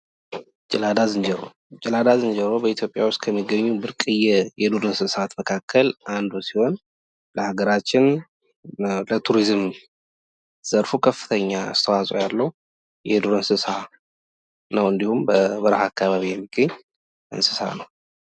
ጭላዳ ዝንጀሮ! ጨላዳ ዝንጀሮ በኢትዮጵያ ዉስጥ ከሚገኙ ብርቅየ የዱር እንስሳት መካከል አንዱ ሲሆን ለሀገራችን ለቱሪዝም ዘርፉ ከፍተኛ አስተዋፅዖ ያለዉ የዱር እንስሳ ነዉ። እንዲሁም በበረሀ አካባቢ የሚገኝ እንስሳ ነዉ።